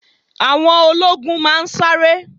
Àwọn ológun náà ń sáré